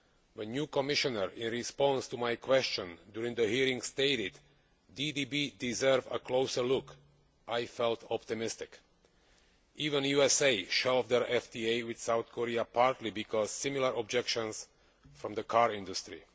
When the new Commissioner, in response to my question during the hearings, stated that DDB deserved a closer look, I felt optimistic. Even the USA has shelved its FTA with South Korea partly because of similar objections from the car industry.